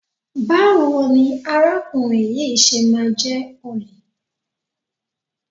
Báwo ni arákùnrin yìí ṣe máa jẹ́ olè?